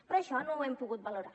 però això no ho hem pogut valorar